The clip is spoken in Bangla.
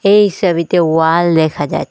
এই সবিতে ওয়াল দেখা যা--